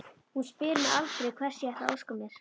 Hún spyr mig aldrei hvers ég ætli að óska mér.